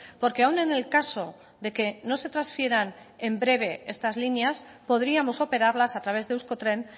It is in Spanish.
porque aún en el caso de que no se transfieran en breve estas líneas podríamos operarlas a través de euskotren